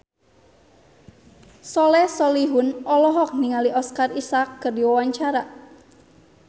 Soleh Solihun olohok ningali Oscar Isaac keur diwawancara